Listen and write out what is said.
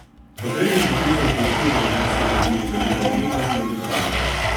Kot redni profesor poučuje na ljubljanski Akademiji za likovno umetnost in oblikovanje.